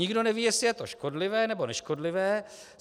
Nikdo neví, jestli je to škodlivé, nebo neškodlivé.